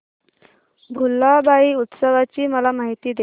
भुलाबाई उत्सवाची मला माहिती दे